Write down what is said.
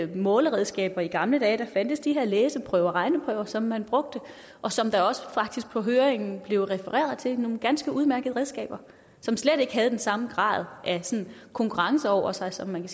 måleredskaber i gamle dage der fandtes de her læseprøver og regneprøver som man brugte og som der også på høringen faktisk blev refereret til nogle ganske udmærkede redskaber som slet ikke havde den samme grad af konkurrence over sig som man